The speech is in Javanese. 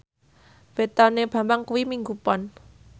wetone Bambang kuwi Minggu Pon